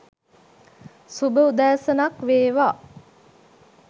සුභ උදෑසනක් වේවා